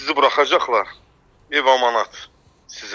Sizi buraxacaqlar, ev amanat sizə.